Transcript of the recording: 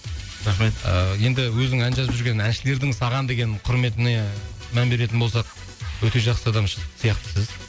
рахмет ыыы енді өзің ән жазып жүрген әншілердің саған деген құрметіне мән беретін болсақ өте жақсы адам ш сияқтысыз